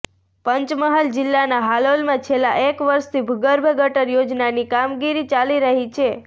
પંચમહાલ જિલ્લાના હાલોલમાં છેલ્લા એક વર્ષથી ભૂગર્ભ ગટર યોજનાની કામગીરી ચાલી રહી છે